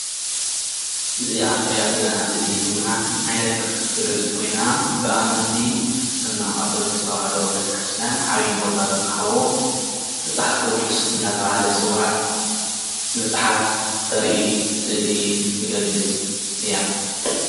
እዛ እንሪኣ ዘለና ስእሊ ድማ መፅሓፍ ትገልፅ ኮይና ብኣመንቲ ክርስትና ኦርቶዶክስ ተወዋህዶ ቤተ ክርስትያን ዓብይ ቦታ ዝወሃቦ መፅሓፍ ቅዱስ እናተባሃለ ዝፅዋዕ መፅሓፍ ተርኢ ስእሊ ትገልፅ እያ፡፡